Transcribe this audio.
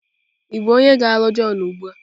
Ị bụ onye ga-alụ John ugbu a?